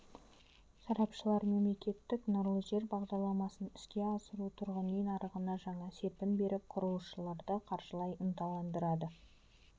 сарапшылар мемлекеттік нұрлы жер бағдарламасын іске асыру тұрғын үй нарығына жаңа серпін беріп құрылысшыларды қаржылай ынталандырады